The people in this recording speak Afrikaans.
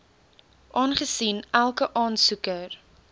aangesien elke aansoeker